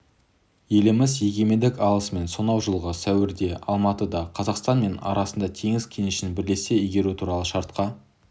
еліміз егемендік алысымен сонау жылғы сәуірде алматыда қазақстан мен арасында теңіз кенішін бірлесе игеру туралы шартқа